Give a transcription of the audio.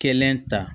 Kelen ta